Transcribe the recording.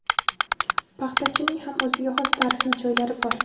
Paxtachining ham o‘ziga xos tarixiy joylari bor.